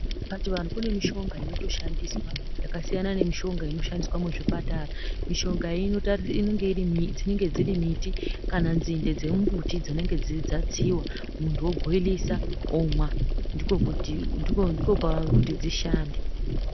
Pachivanhu kune mishonga inotoshandiswa yakasiyana nemushonga inoshandiswa muzvipatara mishonga iyi dzinenge dziri miti kana dzinde dzemumutu dzinenge dzatsiwa muntu obhoilisa omwa ndikokuti dzishande.